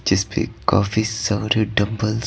जिसपे काफी सारे डंबल --